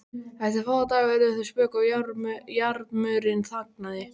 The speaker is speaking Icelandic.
Eftir fáa daga urðu þau spök og jarmurinn þagnaði.